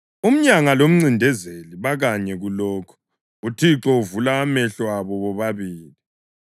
Umyanga lomncindezeli bakanye kulokhu: UThixo uvula amehlo abo bobabili.